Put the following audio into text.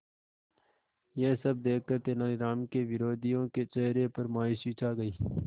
यह सब देखकर तेनालीराम के विरोधियों के चेहरे पर मायूसी छा गई